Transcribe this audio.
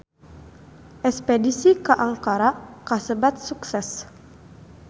Espedisi ka Ankara kasebat sukses